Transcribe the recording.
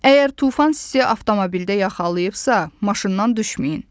Əgər tufan sizi avtomobildə yaxalayıbsa, maşından düşməyin.